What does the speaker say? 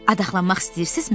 Adaxlanmaq istəyirsiznizmi?